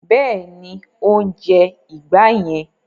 Bẹ́ẹ̀ni, ó ń jẹ ìgbá yẹn.